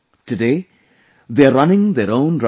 Today they are running their own rice mill